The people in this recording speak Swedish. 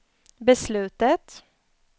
beslutet